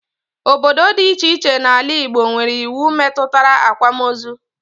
Obodo dị iche iche n'ala Igbo nwere iwu metụtara akwamozu